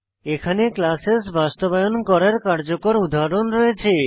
এখানে ক্লাসেস বাস্তবায়ন করার কার্যকর উদাহরণ রয়েছে